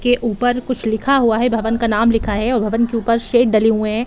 के ऊपर कुछ लिखा हुआ है। भवन का नाम लिखा है और भवन के ऊपर शेड डले हुए हैं।